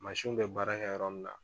Mansinw bɛ baara kɛ yɔrɔ min na